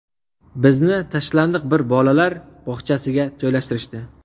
Bizni tashlandiq bir bolalar bog‘chasiga joylashtirishdi.